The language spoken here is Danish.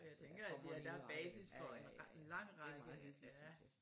Så der kommer en hel række ja ja ja det er meget hyggeligt synes jeg